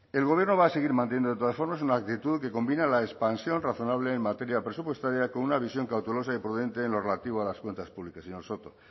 el gobierno va a seguir manteniendo de todas formas una actitud que combina la expansión razonable en materia presupuestaria con una visión cautelosa y prudente en lo relativo a las cuentas públicas señor soto